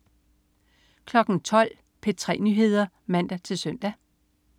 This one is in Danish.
12.00 P3 Nyheder (man-søn)